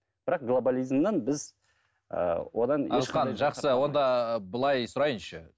бірақ глоболизмнен біз ыыы одан жақсы онда былай сұрайыншы